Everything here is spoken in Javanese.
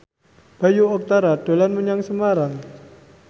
Bayu Octara dolan menyang Semarang